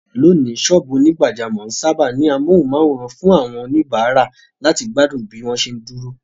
Lónìí, sọ́ọ̀bù onígbàjámọ̀ ń sáábà ní amóhùnmáwòràn fún àwọn oníbàárà láti gbádùn bí wọ́n bá ṣe ń dúró.